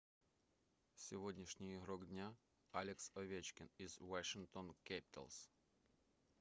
сегодняшний игрок дня алекс овечкин из washington capitals